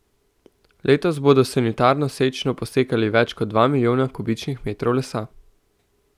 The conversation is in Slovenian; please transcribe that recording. Letos bodo s sanitarno sečnjo posekali več kot dva milijona kubičnih metrov lesa.